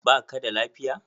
Ba ka da lafiya?